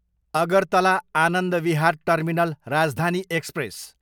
Agartala Anand Vihar terminal Rajdhani express